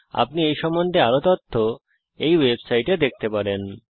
আপনি এই সম্বন্ধে আরও তথ্য এই ওয়েবসাইটে দেখতে পারেন